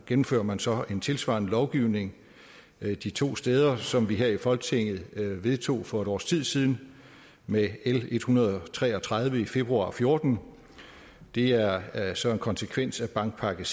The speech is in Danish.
gennemfører man så en tilsvarende lovgivning de to steder som vi her i folketinget vedtog for et års tid siden med l en hundrede og tre og tredive i februar og fjorten det er er så en konsekvens af bankpakke